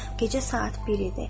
Gecə saat bir idi.